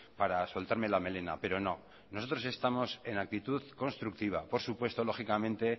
para soltarme la melena pero no nosotros estamos en actitud constructiva por supuesto lógicamente